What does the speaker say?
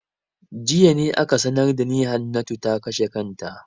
Jiya ne ake sanar da ni Hannatu ta kashe kanta.